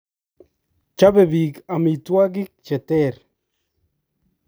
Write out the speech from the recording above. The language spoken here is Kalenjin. Chobei biik amitwokik che ter.